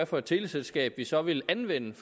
for et teleselskab vi så ville anvende